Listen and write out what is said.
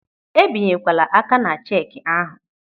Ebinyekwala aka ná cheki ahụ.